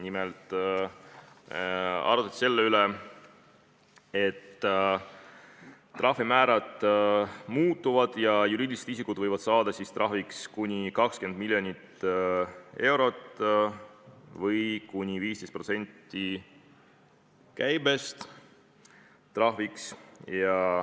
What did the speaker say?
Nimelt arutati selle üle, et trahvimäärad muutuvad ja juriidilisi isikuid võib trahvida kuni 20 miljoni euroga või kuni 15%-ga käibest.